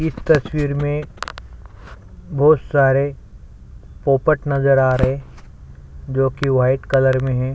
इस तस्वीर में बहोत सारे पोपट नज़र आ रहे है जो किवाइट कलर में है।